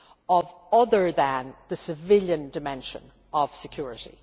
of other than the civilian dimension of security.